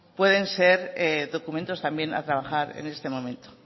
pueden ser documentos también a trabajar en este momento